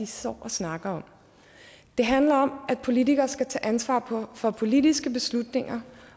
står og snakker om det handler om at politikere skal tage ansvar for politiske beslutninger